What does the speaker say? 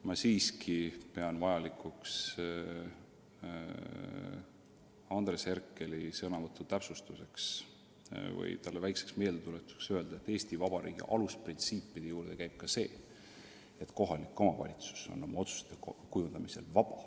Ma siiski pean vajalikuks Andres Herkeli sõnavõtu täpsustuseks või talle väikseks meeldetuletuseks öelda, et Eesti Vabariigi alusprintsiipide juurde käib ka see, et kohalik omavalitsus on oma otsuste kujundamisel vaba.